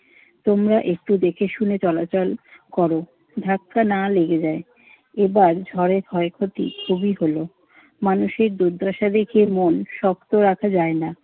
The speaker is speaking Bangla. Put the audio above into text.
তোমরা একটু দেখেশুনে চলাচল কর, ধাক্কা না লেগে যায়। এবার ঝড়ে ক্ষয়ক্ষতি খুবই হল। মানুষের দুর্দশা দেখে মন শক্ত রাখা যায় না।